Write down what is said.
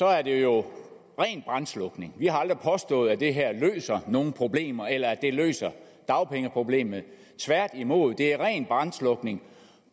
er det jo rent brandslukning vi har aldrig påstået at det her løser nogen problemer eller at det løser dagpengeproblemet tværtimod er det rent brandslukning